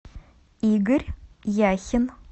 игорь яхин